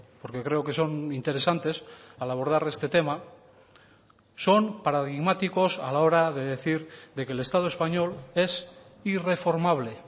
porque creo que son interesantes al abordar este tema son paradigmáticos a la hora de decir de que el estado español es irreformable